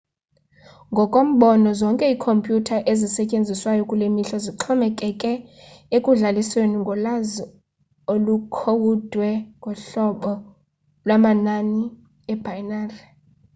ngokombono zonke ikhompyutha ezisetyenziswayo kulemihla zixhomekeke ekudlalisweni ngolwazi olukhowudwe ngohlobo lwamanani ebinary